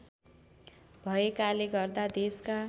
भएकाले गर्दा देशका